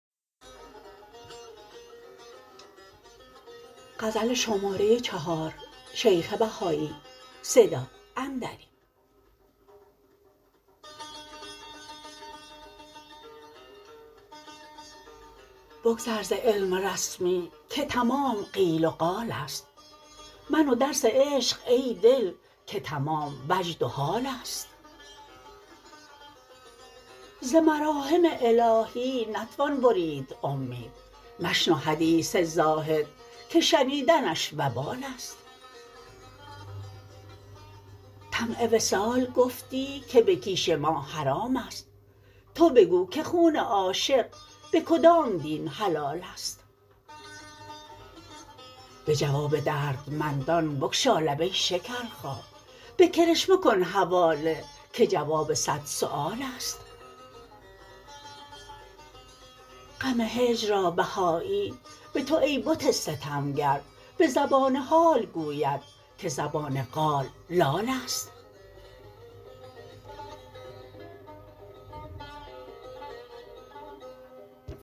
بگذر ز علم رسمی که تمام قیل و قال است من و درس عشق ای دل که تمام وجد و حال است ز مراحم الهی نتوان برید امید مشنو حدیث زاهد که شنیدنش وبال است طمع وصال گفتی که به کیش ما حرام است تو بگو که خون عاشق به کدام دین حلال است به جواب دردمندان بگشا لب ای شکرخا به کرشمه کن حواله که جواب صد سوال است غم هجر را بهایی به تو ای بت ستمگر به زبان حال گوید که زبان قال لال است